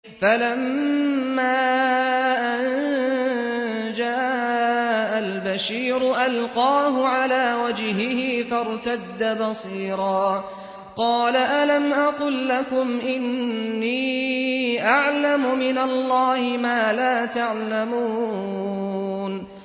فَلَمَّا أَن جَاءَ الْبَشِيرُ أَلْقَاهُ عَلَىٰ وَجْهِهِ فَارْتَدَّ بَصِيرًا ۖ قَالَ أَلَمْ أَقُل لَّكُمْ إِنِّي أَعْلَمُ مِنَ اللَّهِ مَا لَا تَعْلَمُونَ